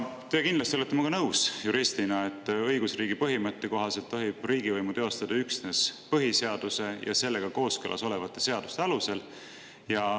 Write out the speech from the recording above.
Teie juristina olete kindlasti minuga nõus, et õigusriigi põhimõtte kohaselt tohib riigivõimu teostada üksnes põhiseaduse ja sellega kooskõlas olevate seaduste alusel.